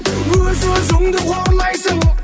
өз өзіңді қорлайсың